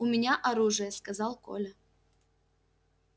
у меня оружие сказал коля